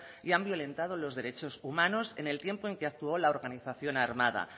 y han violentado los derechos humanos en el tiempo en que actuó la organización armada